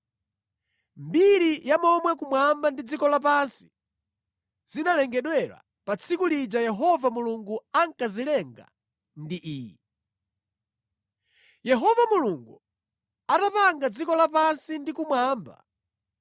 Mbiri ya momwe kumwamba ndi dziko lapansi zinalengedwera pa tsiku lija Yehova Mulungu ankazilenga ndi iyi: Yehova Mulungu atapanga dziko lapansi ndi kumwamba,